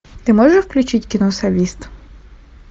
ты можешь включить кино солист